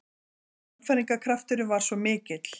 Sannfæringarkrafturinn var svo mikill.